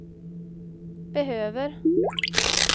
behöver